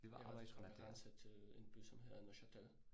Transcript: Det var en grænse, som er grænse til en by som hedder Neuchâtel